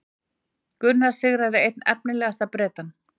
Gunnar sigraði einn efnilegasta Bretann